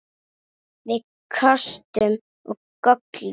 Með kostum og göllum.